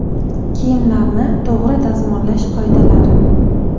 Kiyimlarni to‘g‘ri dazmollash qoidalari.